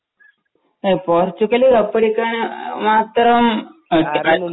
ഏ പോര്‍ച്ചുഗല് കപ്പടിക്കാന്‍ മാത്രം